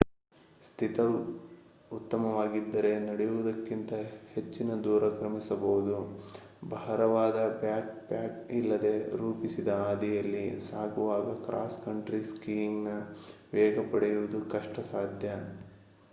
ಸ್ಥಿತಿ ಉತ್ತಮವಾಗಿದ್ದರೆ ನಡೆಯುವುದಕ್ಕಿಂತ ಹೆಚ್ಚಿನ ದೂರ ಕ್ರಮಿಸಬಹುದು ಭಾರವಾದ ಬ್ಯಾಕ್ ಪ್ಯಾಕ್ ಇಲ್ಲದೆ ರೂಪಿಸಿದ ಹಾದಿಯಲ್ಲಿ ಸಾಗುವಾಗ ಕ್ರಾಸ್ ಕಂಟ್ರಿ ಸ್ಕೀಯಿಂಗ್ ನ ವೇಗ ಪಡೆಯುವುದು ಕಷ್ಟ ಸಾಧ್ಯ